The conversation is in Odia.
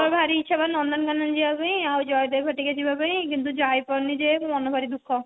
ମୋର ଭାରି ଇଚ୍ଛା ବା ନନ୍ଦନକାନନ ଯିବାପାଇଁ ଆଉ ଜୟଦେବ ବାଟିକା ଯିବାପାଇଁ କିନ୍ତୁ ଯାଇ ପାରୁନି ଯେ ମୋ ମନ ଭାରି ଦୁଃଖ